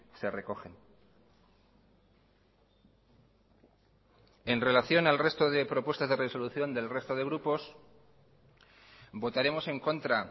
se recogen en relación al resto de propuestas de resolución del resto de grupos votaremos en contra